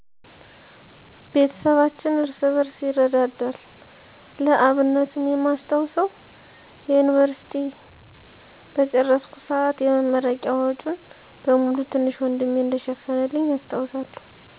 ቤተሰባችን እርስ በርስ ይረዳዳል። ለአብነትም የማስታውሰው፣" የዮኒቨርሲቲ" በጨረስኩ ሰአት የመረቂያ ወጨን በሙሉ ትንሽ ወንድሜ እንደሸፈነልኝ አስታውሳለሁ።